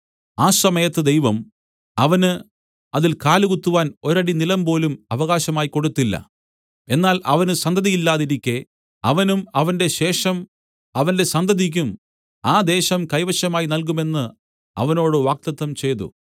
ആ സമയത്ത് ദൈവം അവന് അതിൽ കാലുകുത്തുവാൻ ഒരടി നിലംപോലും അവകാശമായി കൊടുത്തില്ല എന്നാൽ അവന് സന്തതിയില്ലാതിരിക്കെ അവനും അവന്റെ ശേഷം അവന്റെ സന്തതിയ്ക്കും ആ ദേശം കൈവശമായി നല്കുമെന്ന് അവനോട് വാഗ്ദത്തം ചെയ്തു